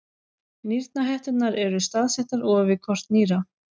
Nýrnahetturnar eru staðsettar ofan við hvort nýra.